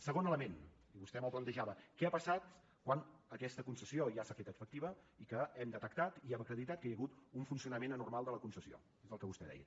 segon element i vostè me’l plantejava què ha passat quan aquesta concessió ja s’ha fet efectiva que hem detectat i hem acreditat que hi ha hagut un funcionament anormal de la concessió és el que vostè deia